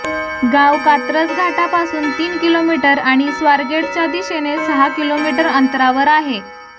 गाव कात्रज घाटापासून तीन किलोमीटर आणि स्वारगेटच्या दिशेने सहा किलोमीटर अंतरावर आहे